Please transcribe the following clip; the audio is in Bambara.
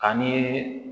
Ani